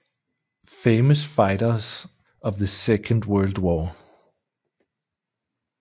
Famous Fighters of the Second World War